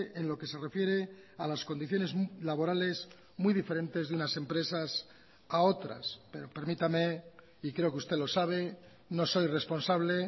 en lo que se refiere a las condiciones laborales muy diferentes de unas empresas a otras pero permítame y creo que usted lo sabe no soy responsable